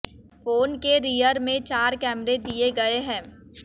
phone के rear में चार कैमरे दिए गए है